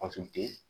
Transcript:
Fasugu tɛ